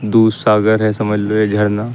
दू सागर है समझ लो ये झरना।